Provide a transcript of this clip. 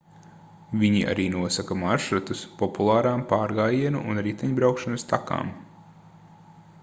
viņi arī nosaka maršrutus populārām pārgājienu un riteņbraukšanas takām